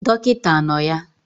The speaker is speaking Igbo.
Dọkịta anọ ya?